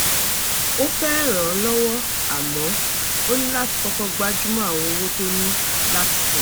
ó fẹ́ ràn án lọ́wọ́ àmọ́ ó ní láti kọ́kọ́ gbájúmọ́ àwọn owó tó ní láti san